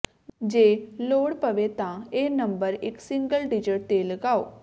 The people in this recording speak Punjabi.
ਜੇ ਲੋੜ ਪਵੇ ਤਾਂ ਇਹ ਨੰਬਰ ਇੱਕ ਸਿੰਗਲ ਡਿਜਟ ਤੇ ਲਿਆਓ